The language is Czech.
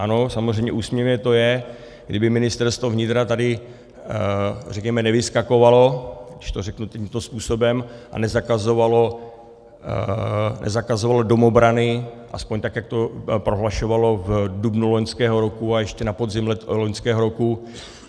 Ano, samozřejmě úsměvné to je, kdyby Ministerstvo vnitra tady, řekněme, nevyskakovalo, když to řeknu tímto způsobem, a nezakazovalo domobrany, aspoň tak jak to prohlašovalo v dubnu loňského roku a ještě na podzim loňského roku.